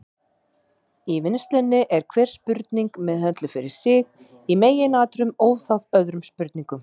Í vinnslunni er hver spurning meðhöndluð fyrir sig, í meginatriðum óháð öðrum spurningum.